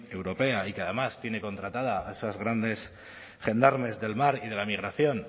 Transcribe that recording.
europea y que además tiene contratada a esos grandes gendarmes del mar y de la migración